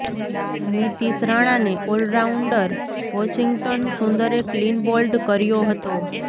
નિતિશ રાણાને all rounder Washington સુંદરે clean bowled કર્યો હતો